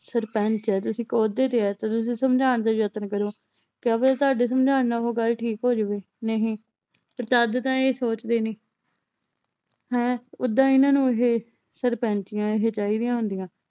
ਸਰਪੰਚ ਹੈ ਤੇ ਇਕ ਅਹੁਦੇ ਤੇ ਹਾਂ ਤਾ ਤੁਸੀਂ ਸਮਝਾਣ ਦਾ ਯਤਨ ਕਰੋ। ਕਯਾ ਪਤਾ ਤੁਹਾਡੇ ਸਮਝਾਣ ਨਾਲ ਉਹ ਗੱਲ ਠੀਕ ਹੋ ਜਾਵੇ ਨਹੀਂ ਤਾਂ ਇਹ ਸੋਚਦੇ ਨੀ। ਹੈਂ ਓਦਾਂ ਇਹਨਾਂ ਨੂੰ ਇਹ ਸਰਪੰਚੀਆਂ ਇਹ ਚਾਹੀਦੀਆਂ ਹੁੰਦੀਆਂ।